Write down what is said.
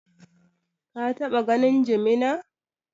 Ka taɓa ganin jimina?